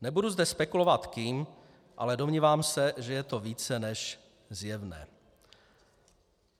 Nebudu zde spekulovat kým, ale domnívám se, že je to více než zjevné.